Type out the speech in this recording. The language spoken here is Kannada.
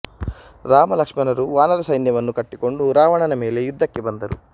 ರಾಮಲಕ್ಷ್ಮಣರು ವಾನರ ಸೈನ್ಯವನ್ನು ಕಟ್ಟಿಕೊಂಡು ರಾವಣನ ಮೇಲೆ ಯುದ್ಧಕ್ಕೆ ಬಂದರು